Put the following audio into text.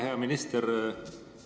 Hea minister!